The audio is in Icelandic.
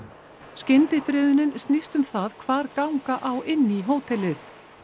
skyndifriðunin snýst um það hvar ganga á inn í hótelið